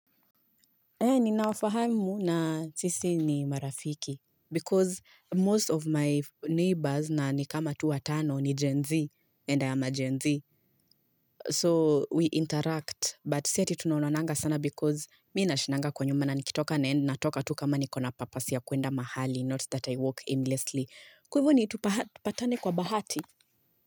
He ni nafahamu na sisi ni marafiki Because most of my neighbors na nikama tu watano ni Gen Z enda ya ma Gen Z So we interact but si ati tunaonananga sana because Mi na shindanga kwa nyuma na nikitoka na endi na toka tu kama niko na purpose ya kuenda mahali Not that I walk aimlessly Kwa hivo ni tu patane kwa bahati.